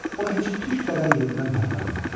O heç tük qədər yerindən tərpənmədi.